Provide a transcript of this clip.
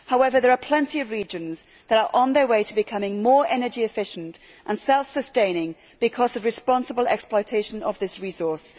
However, there are plenty of regions that are on their way to becoming more energy efficient and self sustaining because of responsible exploitation of this resource.